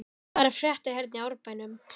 Hvað er að frétta hérna í Árbænum?